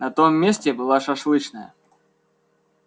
на том месте была шашлычная